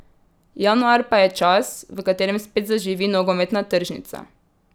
Januar pa je čas, v katerem spet zaživi nogometna tržnica.